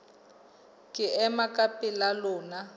ke ema ka pela lona